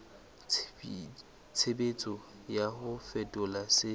tshebetso ya ho fetola se